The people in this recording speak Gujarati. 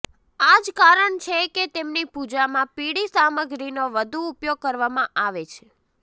આ જ કારણ છે કે તેમની પૂજામાં પીળી સામગ્રીનો વધુ ઉપયોગ કરવામાં આવે છે